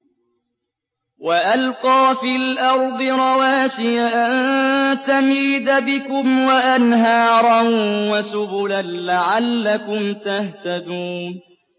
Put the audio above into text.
وَأَلْقَىٰ فِي الْأَرْضِ رَوَاسِيَ أَن تَمِيدَ بِكُمْ وَأَنْهَارًا وَسُبُلًا لَّعَلَّكُمْ تَهْتَدُونَ